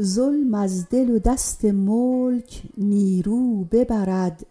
ظلم از دل و دست ملک نیرو ببرد